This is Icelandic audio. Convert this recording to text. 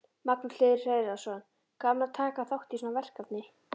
Magnús Hlynur Hreiðarsson: Gaman að taka þátt í svona verkefni?